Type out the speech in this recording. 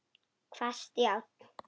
Hvasst járn.